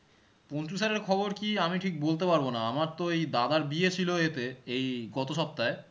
Panchu sir এর খবর কি আমি ঠিক বলতে পারবো না আমার তো এই দাদার এতে এই সপ্তহাহে